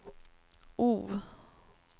O